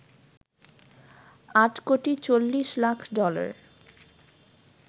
৮ crore ৪০ lakh dollar